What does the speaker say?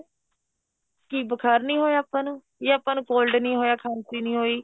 ਕੀ ਬੁਖਾਰ ਨੀ ਹੋਇਆ ਆਪਾਂ ਨੂੰ ਜਾਂ ਆਪਾਂ cold ਨੀ ਹੋਇਆ ਖਾਂਸੀ ਨੀ ਹੋਈ